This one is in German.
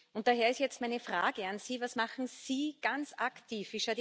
Und daher ist jetzt meine Frage an Sie Was machen Sie ganz aktiv?